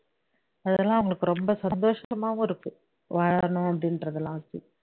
அதெல்லாம் அவங்களுக்கு ரொம்ப சந்தோஷமாவும் இருக்கு வாழணும் அப்ப்டி என்றது எல்லாம்